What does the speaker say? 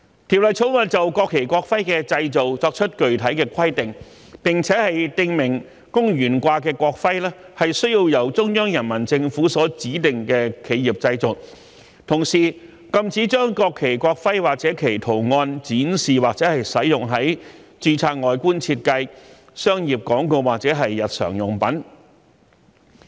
《條例草案》就國旗、國徽的製造，作出具體的規定，並訂明供懸掛的國徽須由中央人民政府所指定的企業製造，同時，禁止將國旗、國徽或其圖案展示或使用於註冊外觀設計、商業廣告或日常用品。